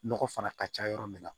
Nɔgɔ fana ka ca yɔrɔ min na